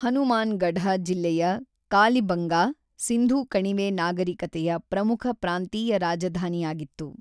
ಹನುಮಾನ್‌ಗಢ ಜಿಲ್ಲೆಯ ಕಾಲಿಬಂಗಾ, ಸಿಂಧೂ ಕಣಿವೆ ನಾಗರಿಕತೆಯ ಪ್ರಮುಖ ಪ್ರಾಂತೀಯ ರಾಜಧಾನಿಯಾಗಿತ್ತು.